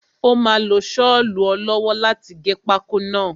Ó máa lo sọlu ọ lọ́wọ́ láti gé pákó náà.